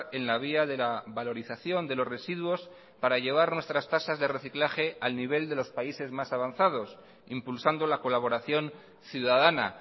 en la vía de la valorización de los residuos para llevar nuestras tasas de reciclaje al nivel de los países más avanzados impulsando la colaboración ciudadana